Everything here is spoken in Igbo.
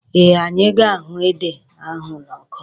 Eh, anyị ga-ahụ ede ahụ n'ọkụ.